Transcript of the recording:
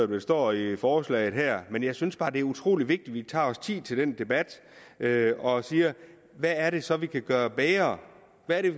der står i i forslaget her men jeg synes bare det er utrolig vigtigt at vi tager os tid til den debat og siger hvad er det så vi kan gøre bedre hvad er